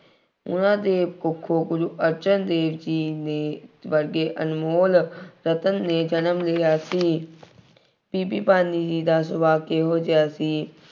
ਉਹਨਾ ਦੀ ਕੁੱਖੋਂ ਗੁਰੂ ਅਰਜਨ ਦੇਵ ਜੀ ਨੇ ਵਰਗੇ ਅਨਮੋਲ ਰਤਨ ਨੇ ਜਨਮ ਲਿਆ ਸੀ। ਬੀਬੀ ਭਾਨੀ ਜੀ ਦਾ ਸੁਭਾਅ ਕਿਹੋ ਜਿਹਾ ਸੀ।